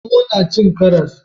Zomo na cin karas?